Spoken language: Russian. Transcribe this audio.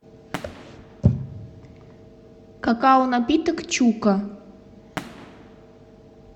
какао напиток чука